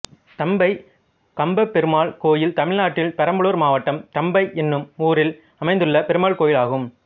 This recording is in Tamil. தம்பை கம்பபெருமாள் கோயில் தமிழ்நாட்டில் பெரம்பலூர் மாவட்டம் தம்பை என்னும் ஊரில் அமைந்துள்ள பெருமாள் கோயிலாகும்